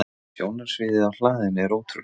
Sjónarsviðið á hlaðinu er ótrúlegt.